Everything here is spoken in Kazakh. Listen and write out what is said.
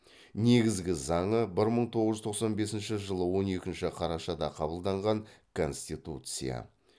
негізгі заңы бір мың тоғыз жүз тоқсан бесінші жылы он екінші қарашада қабылданған конституция